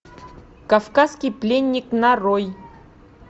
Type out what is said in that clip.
кавказкий пленник нарой